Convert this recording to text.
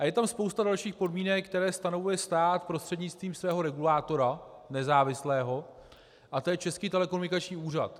A je tam spousta dalších podmínek, které stanovuje stát prostřednictvím svého regulátora, nezávislého, a to je Český telekomunikační úřad.